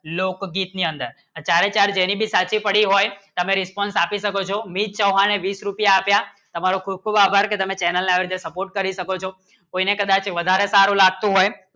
લોક બી કે અંદર તો તારે ચાર સાચી પડી હોય તમે response આપી શકો છો મિત ચવાણ ને બીસ રૂપિયા આપ્યા તામરો ખૂંપ ખૂંપ આભાર કી તમે channel ના આવડે support કરી શકો છો કોઈ ના પ્રકારે વધારે સારું લાગશો હોય